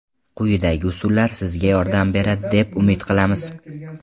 Quyidagi usullar sizga yordam beradi deb umid qilamiz.